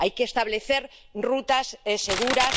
hay que establecer rutas seguras